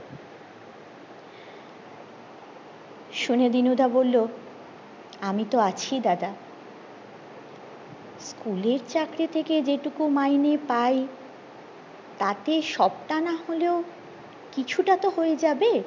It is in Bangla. শুনে দিনুদা বললো আমি তো আছি দাদা school এর চাকরি থেকে যে তুমি মাইনে পাই তাতে সবটা না হলেও কিছুটা তো হয়ে যাবে